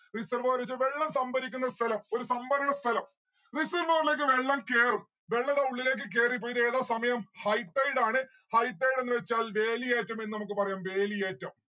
reservoir ന്ന്‌ വെച്ച വെള്ളം സംഭരിക്കുന്ന സ്ഥലം. ഒരു സംഭരണ സ്ഥലം. reservoir ലേക്ക് വെള്ളം കേറും. വെള്ളം അവട ഉള്ളിലേക്ക് കേറിപോയിട്ട് ഏതാ സമയം high tide ആണ്. high tide എന്ന് വച്ചാൽ വേലിയേറ്റം എന്ന് നമ്മുക്ക് പറയാം വേലിയേറ്റം